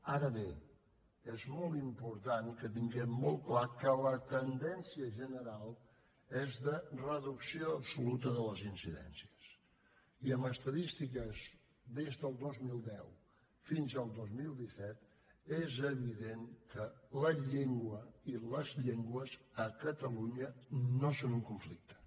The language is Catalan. ara bé és molt important que tinguem molt clar que la tendència general és de reducció absoluta de les incidències i amb estadístiques des del dos mil deu fins al dos mil disset és evident que la llengua i les llengües a catalunya no són un conflicte